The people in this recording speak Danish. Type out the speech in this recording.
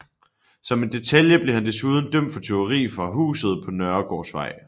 Som en detalje blev han desuden dømt for tyveri fra huset på Nørregårdsvej